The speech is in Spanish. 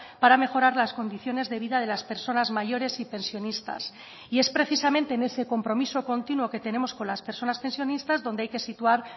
para mejorar las condiciones de vida de las personas mayores y pensionistas y es precisamente en ese compromiso continuo que tenemos con las personas pensionistas donde hay que situar